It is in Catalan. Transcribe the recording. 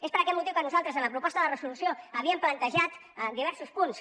és per aquest motiu que nosaltres en la proposta de resolució havíem plantejat diversos punts